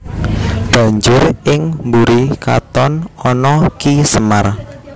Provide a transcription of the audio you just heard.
Banjur ing mburi katon ana Ki Semar